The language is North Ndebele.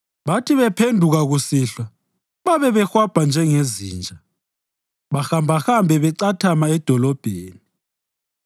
Bathi bephenduka kusihlwa babe behwabha njengezinja, bahambahambe becathama edolobheni.